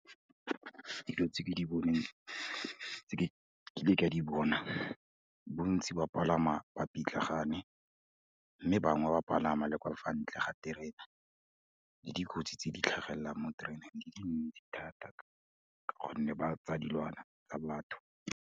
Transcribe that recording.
Dilo tse ke di boneng, tse ke kileng ka di bona, bontsi ba palama ba pitlagane mme bangwe ba palama le kwa fa ntle ga terena, le dikotsi tse di tlhagelelang mo tereneng di dintsi thata, ka gonne ba tsa dilwana tsa batho.